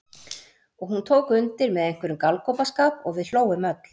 Og hún tók undir með einhverjum galgopaskap og við hlógum öll.